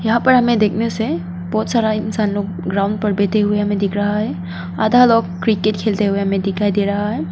यहां पर हमें देखने से बहुत सारा इंसान लोग ग्राउंड पर बैठे हुए हमें दिख रहा है आधा लोग क्रिकेट खेलते हुए हमें दिखाई दे रहा है।